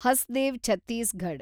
Hasdeo Chhattisgarh